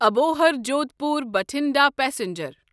Abohar Jodhpur Bathinda passenger